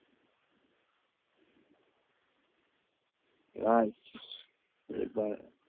ৰাইজ, এইবাৰ